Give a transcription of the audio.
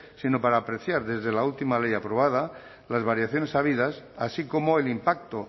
sino para apreciar desde la última ley aprobada las variaciones habidas así como el impacto